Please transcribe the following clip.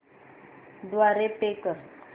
द्वारे पे कर